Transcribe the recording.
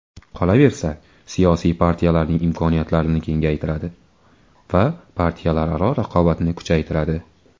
Qolaversa, siyosiy partiyalarning imkoniyatlarini kengaytiradi va partiyalararo raqobatni kuchaytiradi.